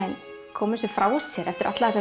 koma þessu frá sér eftir alla þessa